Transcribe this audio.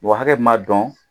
Wa hakɛ ma dɔn